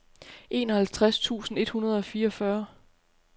enoghalvtreds tusind et hundrede og fireogfyrre